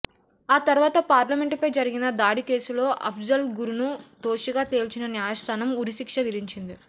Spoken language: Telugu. ఆ తర్వాత పార్లమెంటుపై జరిగిన దాడి కేసులో అఫ్జల్ గురును దోషిగా తేల్చిన న్యాయస్థానం ఉరిశిక్ష విధించింది